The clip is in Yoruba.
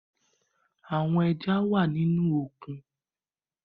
Awọn ẹja wà nínú òkun